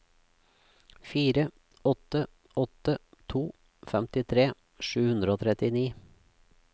fire åtte åtte to femtitre sju hundre og trettini